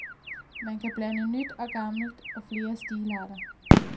Man kan blande nyt og gammelt og flere stilarter.